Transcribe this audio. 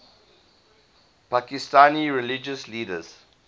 pakistani religious leaders